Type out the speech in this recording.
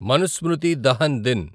Manusmriti Dahan దిన్